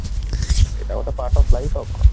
ସେଇଟା ଗୋଟେ part of life ଆଉ